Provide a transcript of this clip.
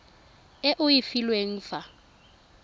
e o e filweng fa